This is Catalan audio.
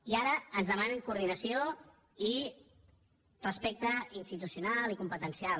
i ara ens demanen coordinació i respecte institucional i competencial